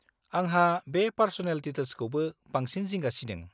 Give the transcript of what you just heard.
आंहा बे पार्स'नेल डिटेल्सखौसो बांसिन जिंगा सिदों।